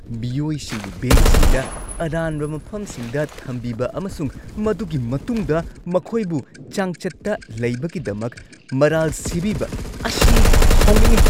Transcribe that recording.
ꯃꯤꯑꯣꯏꯁꯤꯡꯕꯨ ꯕꯦꯡꯛꯁꯤꯡꯗ ꯑꯔꯥꯟꯕ ꯃꯐꯝꯁꯤꯡꯗ ꯊꯝꯕꯤꯕ ꯑꯃꯁꯨꯡ ꯃꯗꯨꯒꯤ ꯃꯇꯨꯡꯗ ꯃꯈꯣꯏꯕꯨ ꯆꯥꯡꯆꯠꯇ ꯂꯩꯕꯒꯤꯗꯃꯛ ꯃꯔꯥꯜ ꯁꯤꯕꯤꯕ ꯑꯁꯤ ꯁꯥꯎꯅꯤꯡꯉꯤ꯫